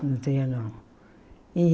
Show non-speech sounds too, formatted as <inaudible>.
No <unintelligible> e.